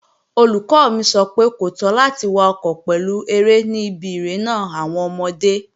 Olùkọ́ mi sọ fún mi pé, kò tọ́ láti wakọ̀ pẹ̀lú eré ní ibi irénà àwọn ọmọdé